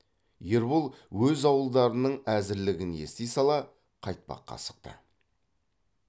ербол өз ауылдарының әзірлігін ести сала қайтпаққа асықты